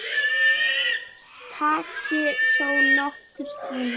Það taki þó nokkurn tíma.